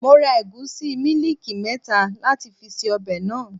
Mo ra ẹ̀gúsí mílíìkì mẹ́ta láti fi ṣe ọbẹ̀ náà.